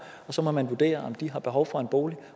og så må man vurdere om de har behov for en bolig